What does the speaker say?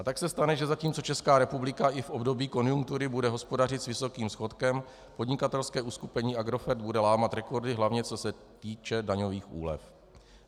A tak se stane, že zatímco Česká republika i v období konjunktury bude hospodařit s vysokým schodkem, podnikatelské uskupení Agrofert bude lámat rekordy, hlavně co se týče daňových úlev.